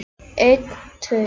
En svo klemmdi hann aftur augun.